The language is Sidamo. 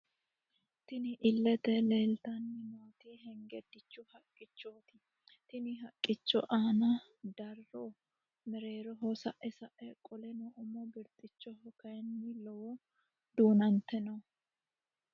Tinni illete leelitanni nooti hengedichu haqichoti tenne haqicho aana darro mererooho sa'e sa'e qoleno umo birixichoho kayiini lowoti duunante no.